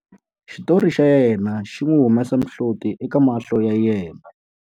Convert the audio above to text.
Xitori xa yena xi n'wi humesa mihloti eka mahlo ya yena.